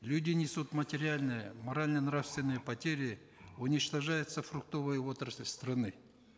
люди несут материальные морально нравственные потери уничтожается фруктовая отрасль страны